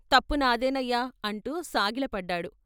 తప్పు నాదేనయ్యా " అంటూ సాగిలపడ్డాడు.